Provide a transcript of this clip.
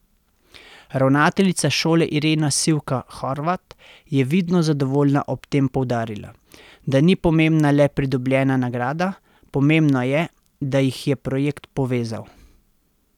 Ravnateljica šole Irena Sivka Horvat je vidno zadovoljna ob tem poudarila, da ni pomembna le pridobljena nagrada, pomembno je, da jih je projekt povezal.